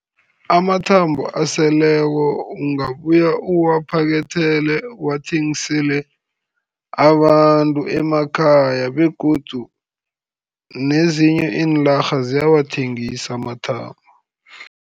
Amathambo aseleko ungabuya uwaphakethele, uwathengisele abantu emakhaya, begodu nezinye iinarha ziyawathengisa amathambo.